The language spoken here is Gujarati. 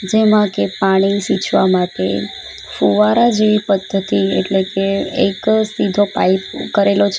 જેમાંકે પાણી સિંચવા માટે ફુવારા જેવી પદ્ધતિ એટલે કે એક સીધો પાઇપ કરેલો છે.